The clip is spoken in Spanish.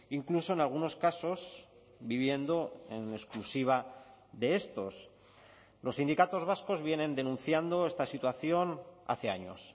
incluso en algunos casos viviendo en exclusiva de estos los sindicatos vascos vienen denunciando esta situación hace años